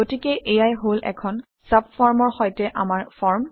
গতিকে এয়াই হল এখন চাবফৰ্মৰ সৈতে আমাৰ ফৰ্ম